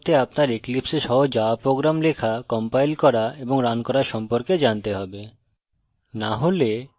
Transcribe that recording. tutorial অনুসরণ করতে আপনার eclipse a সহজ java program লেখা compile করা এবং রান করা সম্পর্কে জানতে হবে